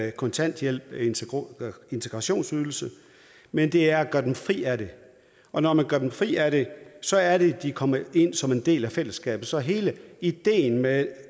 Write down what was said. i kontanthjælp og integrationsydelse men det er at gøre dem fri af det og når man gør dem fri af det så er det at de kommer ind som en del af fællesskabet så hele ideen med